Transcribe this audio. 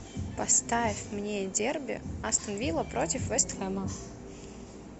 поставь мне дерби астон вилла против вест хэма